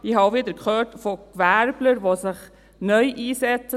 Ich habe auch wieder von Gewerblern gehört, die sich neu einsetzen.